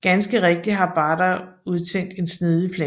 Ganske rigtigt har Barra udtænkt en snedig plan